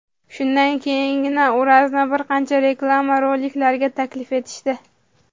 Shundan keyingina Urazni bir qancha reklama roliklariga taklif etishdi.